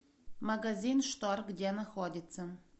магазин штор где находится